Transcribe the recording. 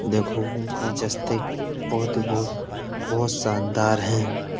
देखो गुलजस्ते बोहोत ही बोहोत बोहोत शानदार हैं।